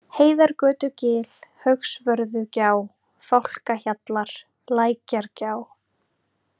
Heiðargötugil, Haugsvörðugjá, Fálkahjallar, Lækjargjá